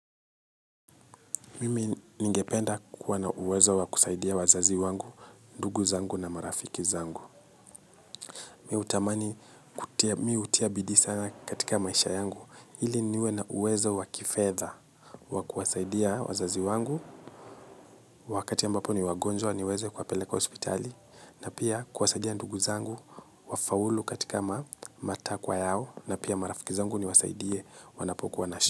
Mimi ningependa kuwa na uwezo wakusaidia wazazi wangu, ndugu zangu na marafiki zangu. Mimihutamani hutia bidiisana katika maisha yangu. Ili niwe na uwezo wakifedha wakuwasaidia wazazi wangu. Wakati ambapo ni wagonjwa niweze kuwapeleka hospitali. Na pia kuwasaidia ndugu zangu wafaulu katika matakwa yao. Na pia marafiki zangu niwasaidie wanapokuwa na shu.